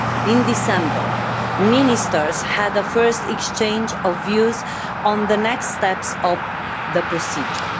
In December, ministers had a first exchange of views on the next steps of the procedure.